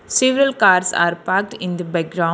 Several cars are parked in the backgro --